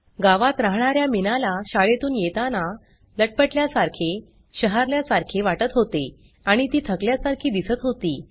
गावात राहणा या मीनाला शाळेतून येताना लटपटल्यासारखे शहारल्यासारखे वाटत होते आणि ती थकल्यासारखी दिसत होती